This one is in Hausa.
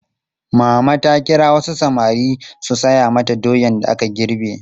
Mama ta kira wasu samari su saya mata doyan da aka girbe.